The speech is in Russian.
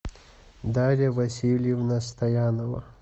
дарья васильевна стоянова